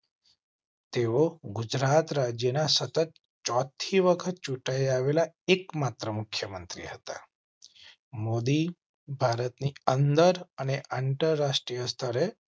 તેઓ ગુજરાત રાજ્ય ના સતત ચોથી વખત ચૂંટાઈ આવેલા એક માત્ર મુખ્ય મંત્રી હતા. મોદી ભારતની અન્ડર અને અંતર રાષ્ટ્રીય સ્તરે